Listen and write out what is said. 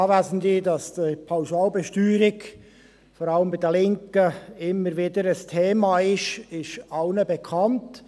Dass die Pauschalbesteuerung, vor allem bei den Linken, immer wieder ein Thema ist, ist allen bekannt.